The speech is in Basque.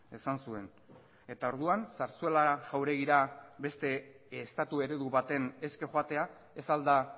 esan zuen eta orduan zarzuela jauregira beste estatu eredu baten eske joatea ez al da